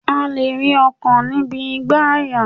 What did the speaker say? A lè rí ọkàn níbi igbàyà